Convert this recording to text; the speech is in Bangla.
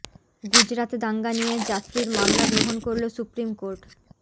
গুজরাত দাঙ্গা নিয়ে জাফরির মামলা গ্রহণ করল সুপ্রিম কোর্ট